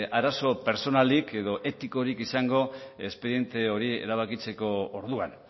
arazo pertsonalik edo etikorik izango espediente hori erabakitzeko orduan